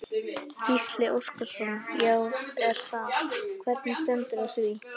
Gísli Óskarsson: Já er það, hvernig stendur á því?